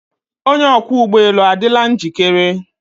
Onye ọkwọ ụgbọ elu adịla njikere?